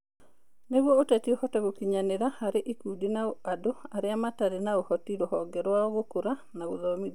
Nĩguo ũteti ũhote gũkinyanĩra harĩ ikundi na andũ arĩa matarĩ na ũhoti Rũhonge rwa Gũkũra na Gũthomithio